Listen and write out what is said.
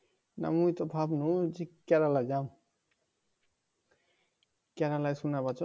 না মুই তো ভাবলুম যে কেরালা জাম কেরালাতে